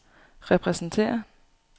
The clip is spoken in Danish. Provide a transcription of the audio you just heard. repræsenterer